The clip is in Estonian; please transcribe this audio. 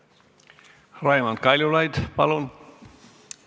Raimond Kaljulaid, palun!